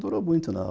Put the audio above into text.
Não durou muito, não.